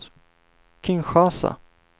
Kinshasa